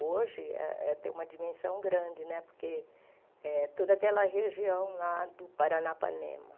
Hoje eh eh tem uma dimensão grande né, porque é toda aquela região lá do Paranapanema.